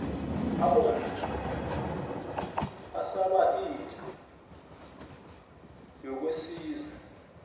abomma basaba inja yakosizwe